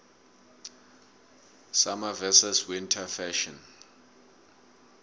summer versus winter fashion